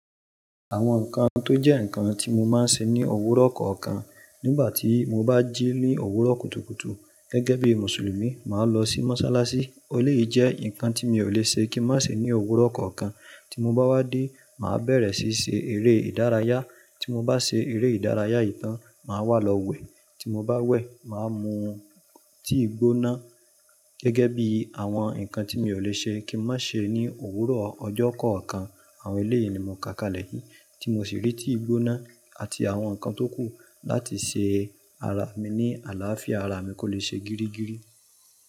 Àwọn nǹkan tó jẹ́ nǹkan tí mo máa ń ṣe ní òwúrọ̀ kọ̀ọ̀kan. Nígbà tí mo bá jí ní òwúrọ̀ kùtùkùtù gẹ́gẹ́ bí Mùsùlùmí, màá lọ sí mọ́sálásí. Eleyii jẹ́ nǹkan tí mi ò le ṣe kí n má ṣe ní òwúrọ̀ kọ̀ọ̀kan. Tí mo bá de, màá bẹ̀rẹ̀ síí ṣe eré ìdárayá. Tí mo bá ṣe eré ìdárayá ìtàn, màá wá lọ wẹ̀. Tí mo bá wẹ̀, màá mu tíì gbóná. Gẹ́gẹ́ bí àwọn nǹkan tí mi ò le ṣe kí n má ṣe ní òwúrọ̀ ọjọ́ kọ̀ọ̀kan. Àwọn eléyìí ni mò ń ká kalẹ̀ yìí, tí mo sì rí tíì gbóná àti àwọn nǹkan tókù láti ṣe ara mi ní àlàáfíà, ara mi kò lè ṣe gírígíri.